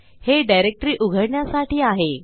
हे डिरेक्टरी उघडण्यासाठी आहे